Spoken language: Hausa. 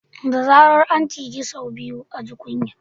Da zarar an ciji sau biyu a ji kunya